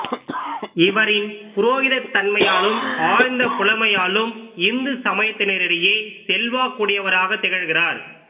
இவரின் புரோகிதத்தன்மையாலும் ஆழ்ந்த புலமையாலும் இந்து சமயத்தினரிடையே செல்வக்குடையவராகத் திகழ்கிறார்